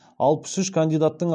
алаыс үш кандидаттың